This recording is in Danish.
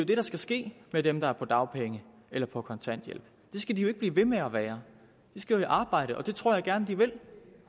det der skal ske med dem der er på dagpenge eller på kontanthjælp det skal de jo ikke blive ved med at være de skal jo i arbejde og det tror jeg gerne de vil